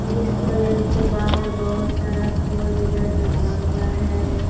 इस कॉलेज के बाहर बहुत सारा फोर व्हीलर लगा हुआ है।